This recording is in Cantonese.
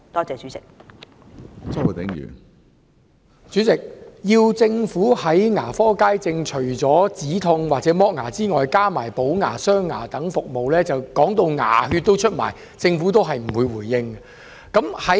主席，除了止痛及脫牙之外，要政府在牙科街症加入補牙、鑲牙等服務，我們說到牙血也流出來了，但政府也不作回應。